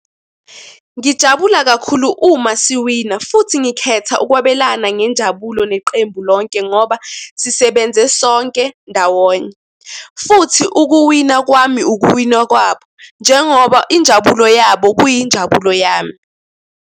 Ngijabula kakhulu uma siwina futhi ngikhetha ukwabelana ngenjabulo neqembu lonke ngoba sisebenze sonke ndawonye. Futhi ukuwina kwami ukuwina kwabo njengoba injabulo yabo kuyinjabulo yami.